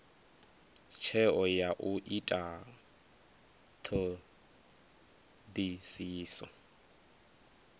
tsheo ya u ita thodisiso